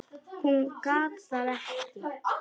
Hún gat það ekki.